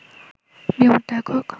বিমূর্ত একক